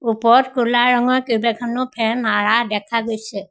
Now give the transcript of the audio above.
ওপৰত ক'লা ৰঙৰ কেইবাখনো ফেন মাৰা দেখা গৈছে।